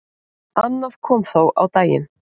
Annað kom þó á daginn.